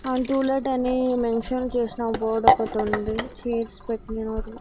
ఆ టులెట్ అని మెన్షన్ చేస్నా బోర్డొకటుంది చైర్స్ పెట్నారు.